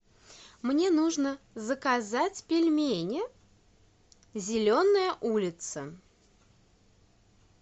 мне нужно заказать пельмени зеленая улица